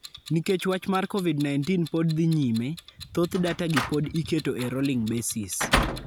Nikech wach mar COVID-19 pod dhii nyime, thoth data gi pod iketo e rolling basis.